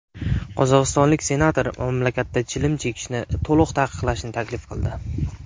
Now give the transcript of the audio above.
Qozog‘istonlik senator mamlakatda chilim chekishni to‘liq taqiqlashni taklif qildi.